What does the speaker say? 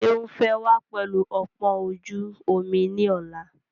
Seun fẹ́ wá pẹlu ọpọ́n ojú omi ni ọ̀la.